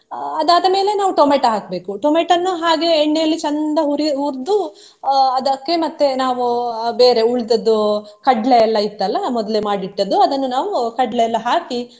ಅಹ್ ಅದಾದ ಮೇಲೆ ನಾವು ಟೊಮೆಟೊ ಹಾಕ್ಬೇಕು, ಟೊಮೊಟೋವನ್ನು ಹಾಗೆ ಎಣ್ಣೆಯಲ್ಲಿ ಚಂದ ಹುರಿ~ ಹುರ್ದು ಅಹ್ ಅದಕ್ಕೆ ಮತ್ತೆ ನಾವು ಅಹ್ ಬೇರೆ ಉಳಿದದ್ದು ಕಡ್ಲೆ ಎಲ್ಲಾ ಇತ್ತಲ್ಲ ಮೊದ್ಲೆ ಮಾಡಿಟ್ಟದ್ದು ಅದನ್ನು ನಾವು ಕಡ್ಲೆ ಎಲ್ಲಾ ಹಾಕಿ.